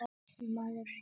Maður gætir sín.